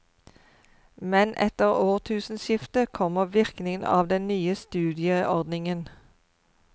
Men etter årtusenskiftet kommer virkningen av den nye studieordningen.